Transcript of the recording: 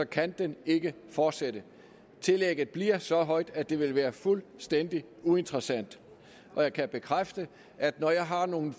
kan den ikke fortsætte tillægget bliver så højt at det vil være fuldstændig uinteressant og jeg kan bekræfte at når jeg har nogle